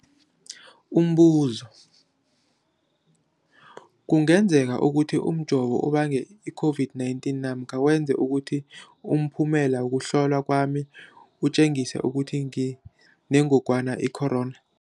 Umbuzo, kungenzekana ukuthi umjovo ubange i-COVID-19 namkha wenze ukuthi umphumela wokuhlolwa kwami utjengise ukuthi nginengogwana i-corona?